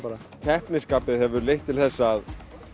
keppnisskapið hefur leitt til þess að